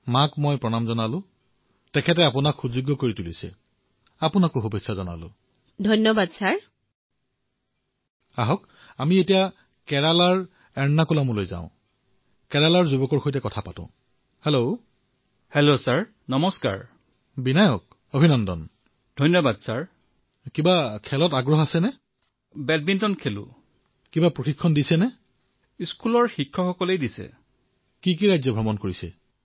মহোদয় তেওঁ নিজৰ জীৱনত বহু কঠিনতা লাভ কৰিছে